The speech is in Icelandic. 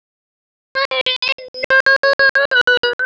En ef ég væri nú.